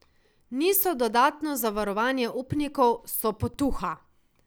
Niso dodatno zavarovanje upnikov, so potuha.